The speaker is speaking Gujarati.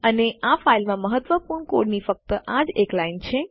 અને આ ફાઈલમાં મહત્વપૂર્ણ કોડની ફક્ત આજ એક લાઈન છે